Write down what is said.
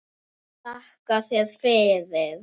Þakka þér fyrir